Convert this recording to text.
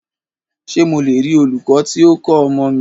Ṣé mo le rí olūkọ́ tí o ń kọ́ ọmọ mi?